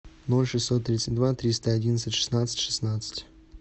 ноль шестьсот тридцать два триста одиннадцать шестнадцать шестнадцать